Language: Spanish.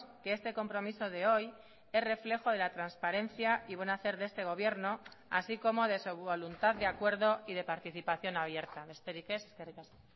que este compromiso de hoy es reflejo de la transparencia y buen hacer de este gobierno así como de su voluntad de acuerdo y de participación abierta besterik ez eskerrik asko